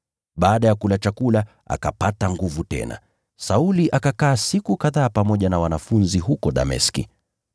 Baada ya kula chakula, akapata nguvu tena. Sauli akakaa siku kadhaa pamoja na wanafunzi huko Dameski.